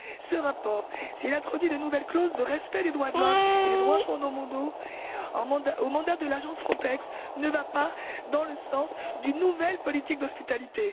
Ce rapport, s'il introduit de nouvelles clauses de respect des droits de l'homme et des droits fondamentaux dans le mandat de l'agence Frontex, ne va pas dans le sens d'une nouvelle politique d'hospitalité.